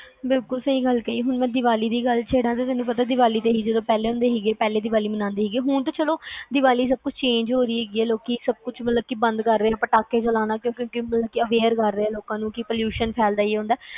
ਬਿਲਕੁਲ ਸਹੀ ਗੱਲ ਕਹਿ, ਹੁਣ ਮੈਂ ਦੀਵਾਲੀ ਦੀ ਗੱਲ ਛੇੜਾ ਤੈਨੂੰ ਪਤਾ ਜਦੋ ਪਹਿਲਾ ਮੰਨਦੇ ਹੁੰਦੇ ਸੀ, ਹੁਣ ਤਾ ਚਲੋ ਦੀਵਾਲੀ change ਹੋ ਰਹੀ ਆ ਲੋਕੀ ਸਬ ਕੁਛ ਬੰਦ ਕਰ ਰਹੇ ਆ ਪਟਾਕੇ ਚਲਾਣਾ, aware ਕਰ ਰਹੇ ਹੈ ਲੋਕਾ ਨੂੰ